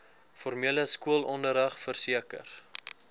formele skoolonderrig verseker